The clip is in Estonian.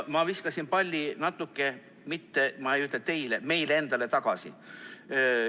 Ma viskasin palli, ma ei ütle, et teile, vaid meile endale tagasi.